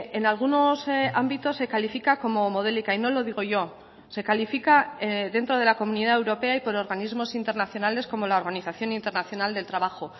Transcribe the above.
en algunos ámbitos se califica como modélica y no lo digo yo se califica dentro de la comunidad europea y por organismos internacionales como la organización internacional del trabajo